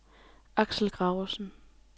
Axel Gravesen